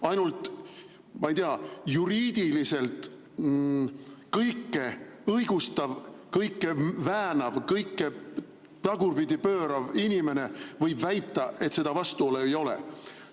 Ainult, ma ei tea, juriidiliselt kõike õigustav, kõike väänav, kõike tagurpidi pöörav inimene võib väita, et seda vastuolu ei ole.